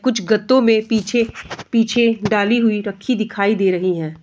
कुछ गतौ में पीछे डाली हुई रखी दिखाई दे रही है।